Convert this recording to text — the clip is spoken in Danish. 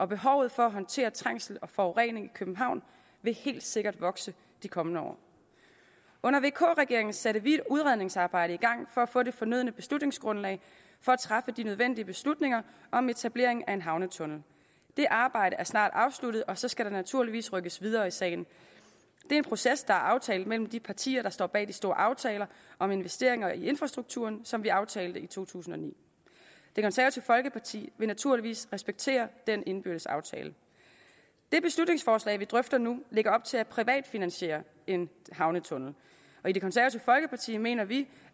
behovet for at håndtere trængsel og forurening i københavn vil helt sikkert vokse de kommende år under vk regeringen satte vi et udredningsarbejde i gang for at få det fornødne beslutningsgrundlag for at træffe de nødvendige beslutninger om etablering af en havnetunnel det arbejde er snart afsluttet og så skal der naturligvis rykkes videre i sagen det er en proces der er aftalt mellem de partier der står bag den store aftale om investeringer i infrastrukturen som vi aftalte i to tusind og ni det konservative folkeparti vil naturligvis respektere den indbyrdes aftale det beslutningsforslag vi drøfter nu lægger op til at privatfinansiere en havnetunnel i det konservative folkeparti mener vi